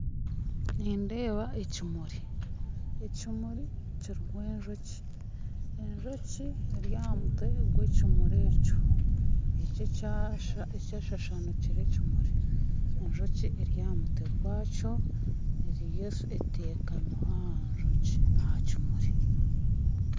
Niindeeba ekimuri ekimuri kirimu enjoki, enjoki eryahamutwe gwekimuri ekyo eki ekyashashanukire ekimuri enjoki eryahamutwe gwakyo eriyo etekamireho aha njoki ahakimuri